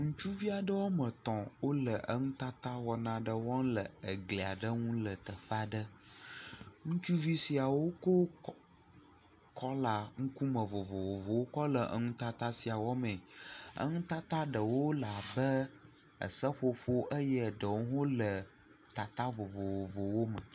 Ŋutsuvi aɖe woame etɔ̃ wole nutata wɔna aɖe wɔm ɖe egli aɖe ŋu le teƒe aɖe, ŋutsuvi siawo ko kɔ..kɔla vovovowo le nutata sia wɔ mee. Nutata ɖewo le abe seƒoƒo eye ɖewo le tata vovovowo me.